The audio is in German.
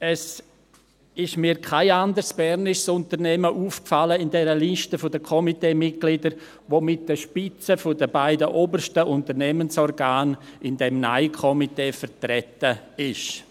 Mir ist kein anderes bernisches Unternehmen in der Liste der Komiteemitglieder aufgefallen, welches mit den Spitzen der beiden obersten Unternehmensorgane in diesem Nein-Komitee vertreten ist.